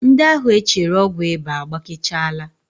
Ndị ahụ e chere ọgwụ ịba agbakechaala